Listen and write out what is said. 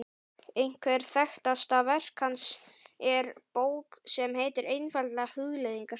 Eitthvert þekktasta verk hans er bók sem heitir einfaldlega Hugleiðingar.